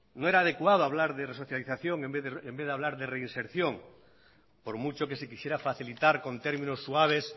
no era adecuado hablar de resocialización en vez de hablar de reinserción por mucho que se quisiera facilitar con términos suaves